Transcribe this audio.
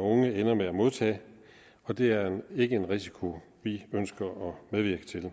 unge ender med at modtage og det er ikke en risiko vi ønsker at medvirke til